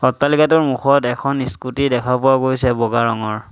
অট্টালিকাটোৰ মুখত এখন স্কুটী দেখা পোৱা গৈছে বগা ৰঙৰ।